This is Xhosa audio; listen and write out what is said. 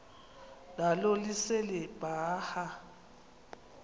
nalo lise libaha